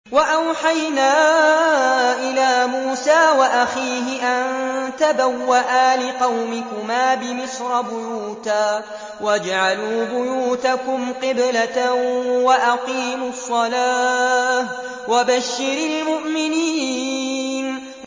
وَأَوْحَيْنَا إِلَىٰ مُوسَىٰ وَأَخِيهِ أَن تَبَوَّآ لِقَوْمِكُمَا بِمِصْرَ بُيُوتًا وَاجْعَلُوا بُيُوتَكُمْ قِبْلَةً وَأَقِيمُوا الصَّلَاةَ ۗ وَبَشِّرِ الْمُؤْمِنِينَ